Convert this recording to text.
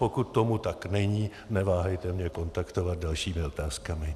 Pokud tomu tak není, neváhejte mě kontaktovat dalšími otázkami.